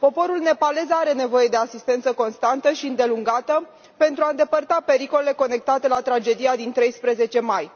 Poporul nepalez are nevoie de asistență constantă și îndelungată pentru a îndepărta pericolele conectate la tragedia din 13 mai.